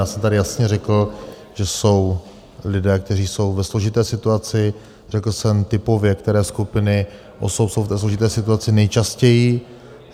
Já jsem tady jasně řekl, že jsou lidé, kteří jsou ve složité situaci, řekl jsem typově, které skupiny osob jsou v té složité situaci nejčastěji.